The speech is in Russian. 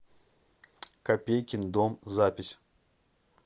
копейкин дом запись